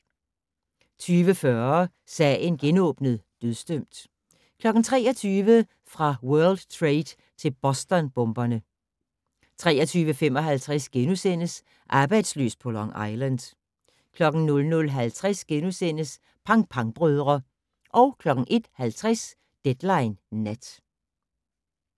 20:40: Sagen genåbnet: Dødsdømt 23:00: Fra World Trade til Boston-bomberne 23:55: Arbejdsløs på Long Island * 00:50: Pang Pang-brødre * 01:50: Deadline Nat